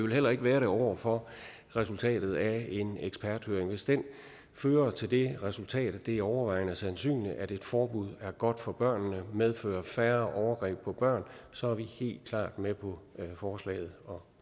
vil heller ikke være det over for resultatet af en eksperthøring hvis den fører til det resultat at det er overvejende sandsynligt at et forbud er godt for børnene og medfører færre overgreb på børn så er vi helt klart med på forslaget og